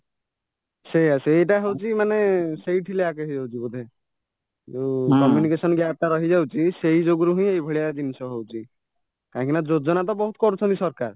ସେଇୟା ସେଇଟା ହଉଚି ମାନେ ସେଇଠି lack ହେଇଯାଉଛି ବୋଧେ ଯୋଉ communication gapଟା ରହିଯାଉଛି ସେଇ ଯୋଗୁ ରୁହିଁ ଏଇଜିନିଷ ହଉଚି କାହିଁକିନା ଯୋଜନା ବହୁତ କରୁଛନ୍ତି ସରକାର